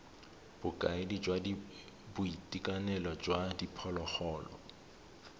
bokaedi jwa boitekanelo jwa diphologolo